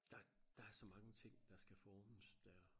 Der der så mange ting der skal formes dér